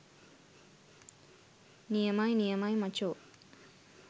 නියමයි නියමයි මචෝ